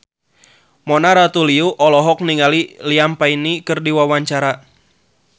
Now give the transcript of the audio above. Mona Ratuliu olohok ningali Liam Payne keur diwawancara